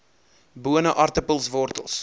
bone aartappels wortels